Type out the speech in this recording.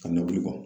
Ka nɔbi kɔ